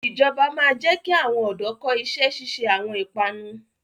Ìjọba máa ma jẹ ki àwọn ọ̀dọ́ kọ́ ìṣẹ́ ṣíṣe àwọn ìpanu